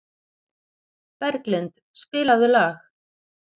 Berglind, spilaðu lag.